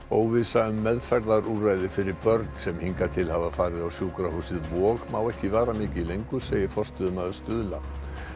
óvissa um meðferðarúrræði fyrir börn sem hingað til hafa farið á sjúkrahúsið Vog má ekki vara mikið lengur segir forstöðumaður Stuðla